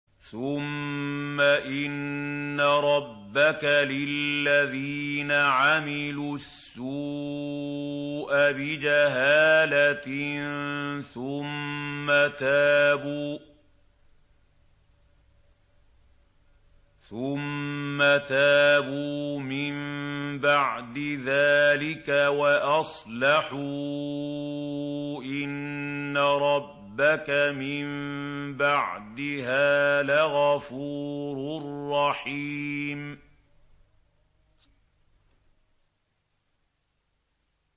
ثُمَّ إِنَّ رَبَّكَ لِلَّذِينَ عَمِلُوا السُّوءَ بِجَهَالَةٍ ثُمَّ تَابُوا مِن بَعْدِ ذَٰلِكَ وَأَصْلَحُوا إِنَّ رَبَّكَ مِن بَعْدِهَا لَغَفُورٌ رَّحِيمٌ